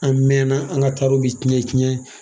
An mɛɛnna an ka tari bi tiɲɛ tiɲɛ